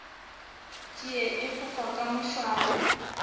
tšie e fofa ka mošwang